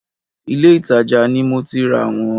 Ìlé-ìtajà ni mo ti rà wọ́n